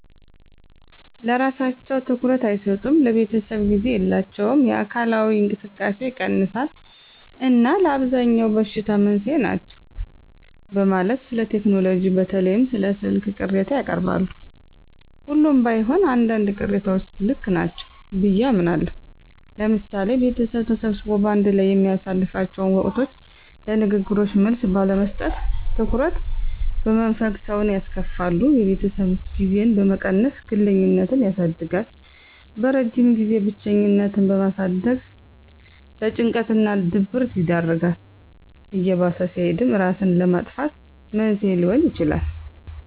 ለስራቸው ትኩረት አይሰጡም፣ ለቤተሰብ ጊዜ የላቸውም፣ የአካላዊ እንቅስቃሴ ይቀንሳል እና ለአብዛኛው በሽታ መንስኤ ናቸው በማለት ስለቴክኖሎጂ በተለይም ስለ ስልክ ቅሬታ ያቀርባሉ። ሁሉም ባይሆን አንዳንድ ቅሬታዎች ልክ ናቸው ብየ አምናለሁ። ለምሳሌ ቤተሰብ ተሰብስቦ በአንድ ላይ በሚያሳልፍላቸው ወቅቶች ለንግግሮች መልስ ባለመስጠት፣ ትኩረት በመንፈግ ሰውን ያስከፋሉ። የቤተሰብ ጊዜን በመቀነስ ግለኝነትን ያሳድጋል። በረጅም ጊዜም ብቸኝነትን በማሳደግ ለጭንቀት እና ድብረት ይዳርጋል። እየባሰ ሲሄድም እራስን ለማጥፋት መንስኤ ሊሆን ይችላል።